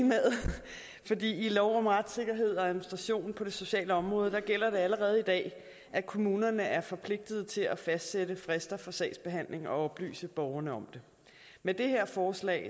lov om retssikkerhed og administration på det sociale område gælder det allerede i dag at kommunerne er forpligtet til at fastsætte frister for sagsbehandlingen og oplyse borgerne om det med det her forslag